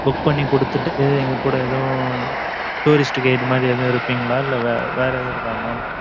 book பண்ணி குடுத்துட்டு, எங்க கூட, எதுவும், tourist guide மாதிரி எதுவும் இருப்பீங்களா? இல்லை, வேற வேற எதுவும் இருக்கா mam